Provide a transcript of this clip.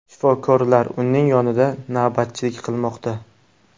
Shifokorlar uning yonida navbatchilik qilmoqda.